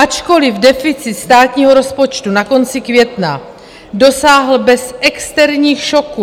Ačkoliv deficit státního rozpočtu na konci května dosáhl bez externích šoků...